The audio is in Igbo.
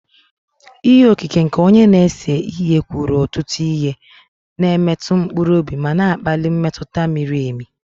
Ihe okike nke onye na-ese ihe kwuru ọtụtụ ihe, na-emetụ mkpụrụ obi ma na-akpali mmetụta miri emi